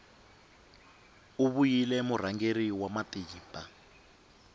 u vile murhangeri wa matimba